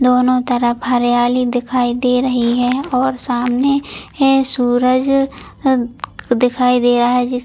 दोनों तरफ हरियाली दिखाई दे रही है और सामने है सूरज ह दिखाई दे रहा है जिस--